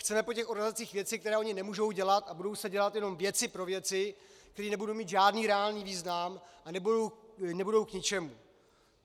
Chceme po těch organizacích věci, které ony nemůžou udělat, a budou se dělat jenom věci pro věci, které nebudou mít žádný reálný význam a budou k ničemu.